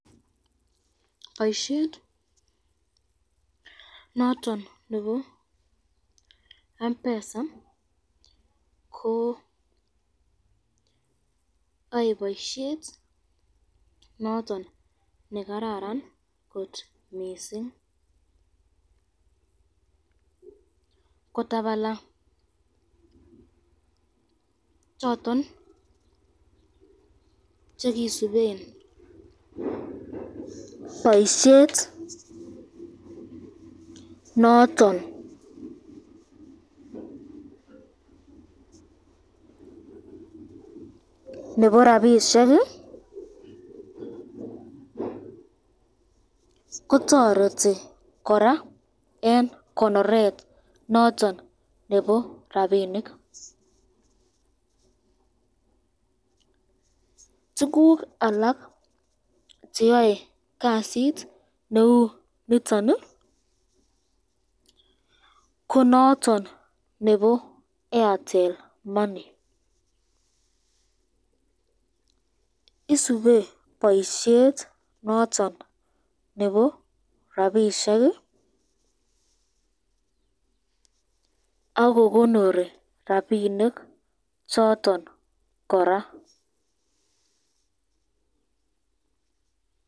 boisyet noton nebo mpesa ko Yan boisyet noton nekararan kot mising, kotabala choton chekisuben boisyet noton nebo rapishek, kotoreti koraa eng konoret noton nebo rapinik, tukuk alak cheyoe kasit neu niton, ko noton nebo Airtel money, isube boisyet noton f